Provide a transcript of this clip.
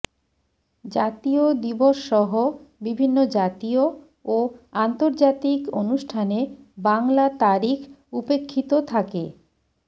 জাতীয় দিবসসহ বিভিন্ন জাতীয় ও আন্তর্জাতিক অনুষ্ঠানে বাংলা তারিখ উপেক্ষিত থাকে